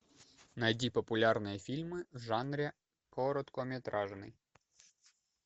найди популярные фильмы в жанре короткометражный